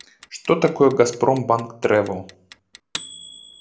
что такое газпромбанк тревел